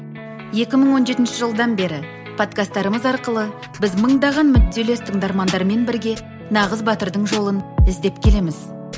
екі мың он жетінші жылдан бері подкасттарымыз арқылы біз мыңдаған мүдделес тыңдармандардармен бірге нағыз батырдың жолын іздеп келеміз